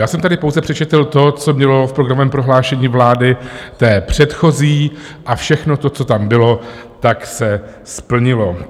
Já jsem tady pouze přečetl to, co bylo v programovém prohlášení vlády, té předchozí, a všechno to, co tam bylo, tak se splnilo.